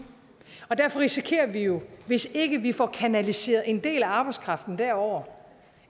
og derfor risikerer vi jo hvis ikke vi får kanaliseret en del af arbejdskraften derover